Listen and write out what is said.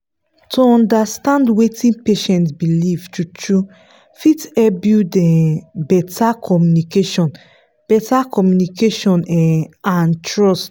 to understand wetin patient believe true-true fit help build um better communication better communication um and trust.